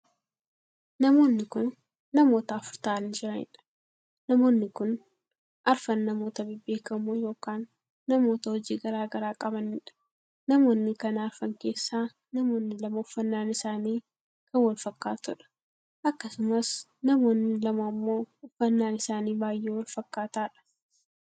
Namoonni kun namoota afur taa'anii jiraniidha. Namoonni kun arfan namoota bebbeekamoo ykn namoota hojii garaagaraa qabaniidha. Namoonni kana arfan keessaa namoonni lamaa uffannaan isaanii kan wal fakkaatudha. Akkasumas namoonni lama ammoo uffannaa isaanii baay'ee Wal fakkaataadhaa